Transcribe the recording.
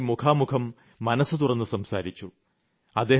അദ്ദേഹവുമായി മുഖാമുഖം മനസ്സ്തുറന്ന് സംസാരിച്ചു